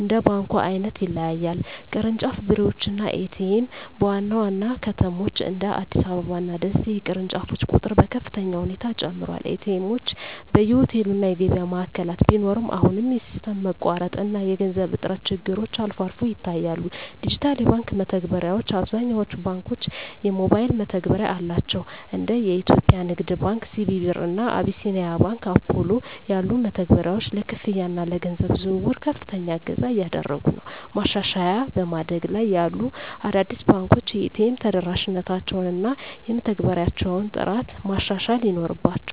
እንደ ባንኩ ዓይነት ይለያያል። ቅርንጫፍ ቢሮዎች እና ኤ.ቲ.ኤም (ATM): በዋና ዋና ከተሞች (እንደ አዲስ አበባ እና ደሴ) የቅርንጫፎች ቁጥር በከፍተኛ ሁኔታ ጨምሯል። ኤ.ቲ. ኤምዎች በየሆቴሉ እና የገበያ ማዕከላት ቢኖሩም፣ አሁንም የሲስተም መቋረጥ እና የገንዘብ እጥረት ችግሮች አልፎ አልፎ ይታያሉ። ዲጂታል የባንክ መተግበሪያዎች: አብዛኞቹ ባንኮች የሞባይል መተግበሪያ አላቸው። እንደ የኢትዮጵያ ንግድ ባንክ (CBE Birr) እና አቢሲኒያ ባንክ (Apollo) ያሉ መተግበሪያዎች ለክፍያ እና ለገንዘብ ዝውውር ከፍተኛ እገዛ እያደረጉ ነው። ማሻሻያ በማደግ ላይ ያሉ አዳዲስ ባንኮች የኤ.ቲ.ኤም ተደራሽነታቸውን እና የመተግበሪያዎቻቸውን ጥራት ማሻሻል ይኖርባ